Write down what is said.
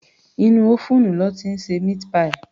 Inú ófúùnù lọ́ ti ń ṣe meat pie